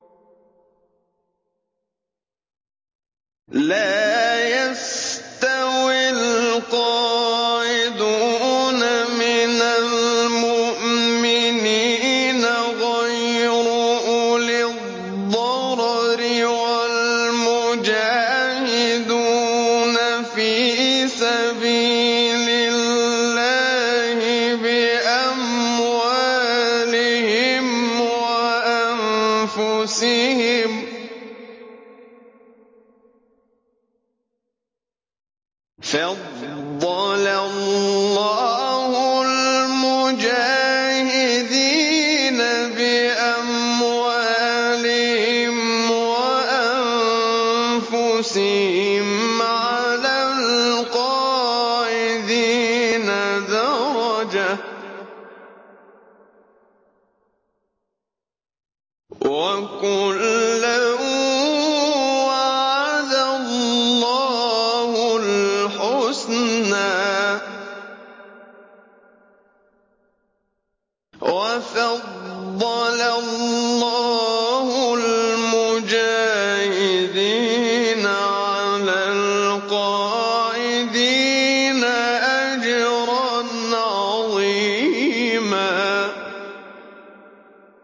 لَّا يَسْتَوِي الْقَاعِدُونَ مِنَ الْمُؤْمِنِينَ غَيْرُ أُولِي الضَّرَرِ وَالْمُجَاهِدُونَ فِي سَبِيلِ اللَّهِ بِأَمْوَالِهِمْ وَأَنفُسِهِمْ ۚ فَضَّلَ اللَّهُ الْمُجَاهِدِينَ بِأَمْوَالِهِمْ وَأَنفُسِهِمْ عَلَى الْقَاعِدِينَ دَرَجَةً ۚ وَكُلًّا وَعَدَ اللَّهُ الْحُسْنَىٰ ۚ وَفَضَّلَ اللَّهُ الْمُجَاهِدِينَ عَلَى الْقَاعِدِينَ أَجْرًا عَظِيمًا